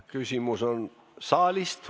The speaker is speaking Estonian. Küsimus saalist.